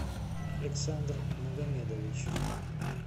александр магомедович